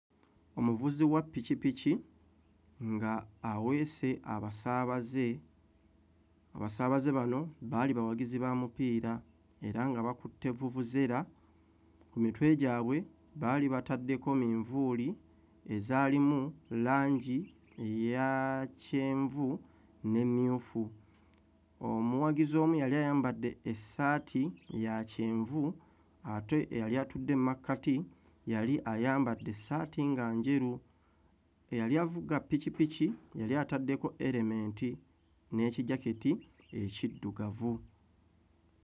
Omuvuzi wa ppikippiki ng'aweese abasabaaze, abasaabaze bano baali bawagizi ba mupiira era nga bakutte vuvuzera, ku mitwe gyabwe baali bataddeko minvuuli ezalimu langi eya kyenvu n'emmyufu. Omuwagizi omu yali ayambadde essaati ya kyenvu ate eyali atudde mmakati yali ayambadde essaati nga njeru, eyali avuga ppikippiki yali ataddeko elementi, n'ekijaketi ekiddugavu.